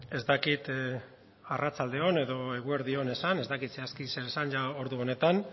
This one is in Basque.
ez dakit arratsalde on edo eguerdi on esan ez dakit zehazki zer esan ordu honetan